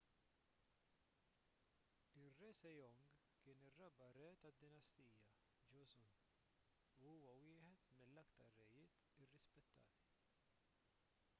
ir-re sejong kien ir-raba' re tad-dinastija joseon u huwa wieħed mill-aktar rejiet irrispettati